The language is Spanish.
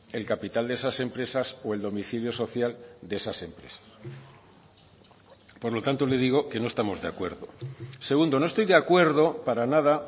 el capital de esas empresas o el domicilio social de esas empresas por lo tanto le digo que no estamos de acuerdo segundo no estoy de acuerdo para nada